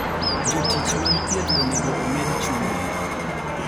Jotich mag thieth onego omed chudo.